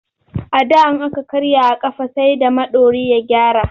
A da in aka karya a ƙafa sai da maiɗori ya gyara.